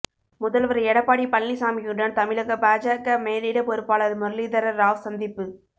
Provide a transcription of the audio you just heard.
முதல்வர் எடப்பாடி பழனிசாமியுடன் தமிழக பாஜக மேலிட பொறுப்பாளர் முரளிதர ராவ் சந்திப்பு